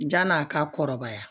Jan'a ka kɔrɔbaya